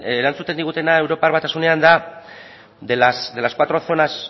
erantzuten digutena europar batasunean da de las cuatro zonas